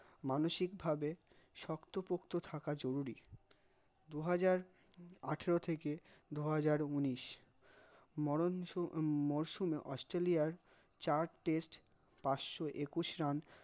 মানসিক ভাবে শক্ত পক্ত থাকা জরুরী, দু হাজার আথের থেকে দু হাজার উন্নইস মরণঝ উম মৌসনে অস্ট্রালইয়ার চার test পশশ একুশ রান